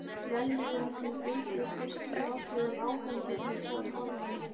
Vellíðanin sem fylgdi fyrstu áhrifum áfengisins var horfin.